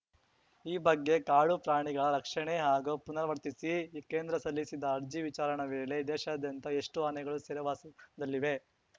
ಈ ಬಗ್ಗೆ ಕಾಡು ಪ್ರಾಣಿಗಳ ರಕ್ಷಣೆ ಹಾಗೂ ಪುನರ್ವತಿಸಿ ಕೇಂದ್ರ ಸಲ್ಲಿಸಿದ್ದ ಅರ್ಜಿ ವಿಚಾರಣ ವೇಳೆ ದೇಶಾದ್ಯಂತ ಎಷ್ಟುಆನೆಗಳು ಸೆರೆವಾಸದಲ್ಲಿವೆ